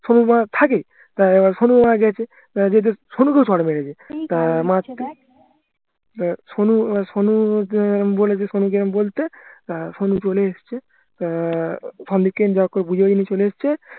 সোনু থাকেই সোনু ওখানে গেছে সোনুকে ও চড় মেরেছে সোনুকে বলছে সোনুকে আমি বলতে আহ সোনু চলে এসছে আহ চলে এসছে